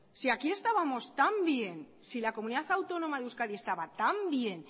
si aquí estábamos tan bien si la comunidad autónoma de euskadi estaba tan bien